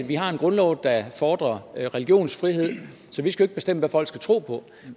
vi har en grundlov der fordrer religionsfrihed så vi skal ikke bestemme hvad folk skal tro på